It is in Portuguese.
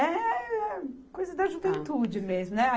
É coisa da juventude mesmo, né?